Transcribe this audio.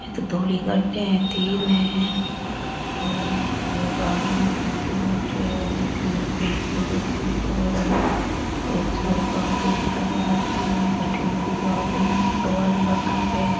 ये तो धोली गाड़ियां तीन है और एक आदमी --